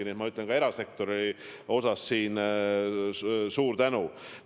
Nii et ma ütlen ka erasektori esindajatele siin suur tänu.